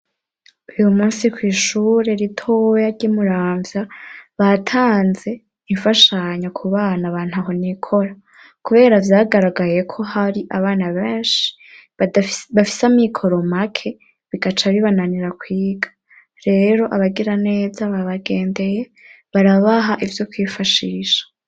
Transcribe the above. Uyu musi kw'ishure ritoya ry'imuramvya batanze imfashanyo ku bana abantu ahonikora, kubera vyagaragaye ko hari abana benshi bafise amw'i koromake bigaca bibananira kwiga rero abagira neza babagendeye barabaha ivyo kwifashisha.